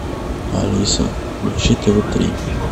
алиса включи тв три